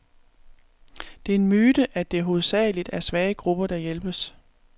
Det er en myte, at det hovedsageligt er svage grupper, der hjælpes.